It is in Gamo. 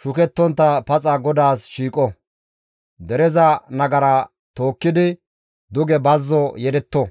shukettontta paxa GODAAS shiiqo; dereza nagara tookkidi duge bazzo yedetto.